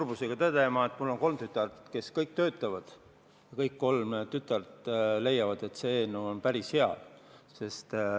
Ma pean tõdema, et mul on kolm tütart, kes kõik töötavad, ja kõik kolm tütart leiavad, et see eelnõu on päris hea.